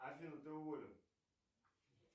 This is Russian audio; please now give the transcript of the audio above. афина ты уволена